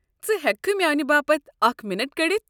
ژٕ ہٮ۪ککھہٕ میاٛنہِ باپتھ اكھ مِنٹ كٔڈِتھ؟